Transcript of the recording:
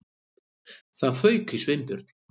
Það fauk í Sveinbjörn.